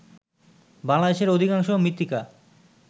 বাংলাদেশের অধিকাংশ মৃত্তিকা